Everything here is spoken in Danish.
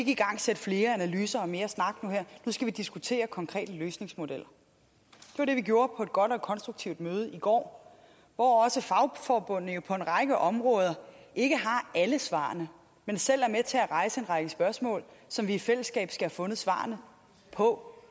igangsætte flere analyser og mere snak nu skal vi diskutere konkrete løsningsmodeller det var det vi gjorde på et godt og konstruktivt møde i går hvor også fagforbundene på en række områder ikke har alle svarene men selv er med til at rejse en række spørgsmål som vi i fællesskab skal have fundet svarene på